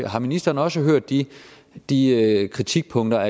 har ministeren også hørt de de kritikpunkter